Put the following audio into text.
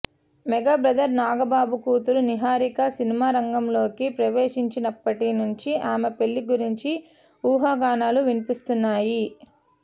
mega brother Nagababu కూతురు నిహారిక సినిమా రంగంలోకి ప్రవేశించినప్పటి నుంచి ఆమె పెళ్లి గురించి ఊహాగానాలు వినిపిస్తున్నాయి